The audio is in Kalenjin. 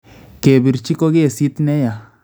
Kepiirchi ko kesiit neyaa